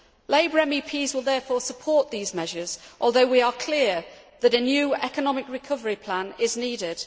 Labour MEPs will therefore support these measures, although we are clear that a new economic recovery plan is needed.